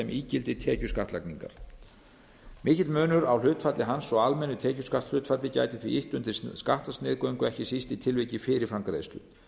ígildi tekjuskattlagningar mikill munur á hlutfalli hans og almennu tekjuskattshlutfalli gæti því ýtt undir skattsniðgöngu ekki síst í tilviki fyrirframgreiðslu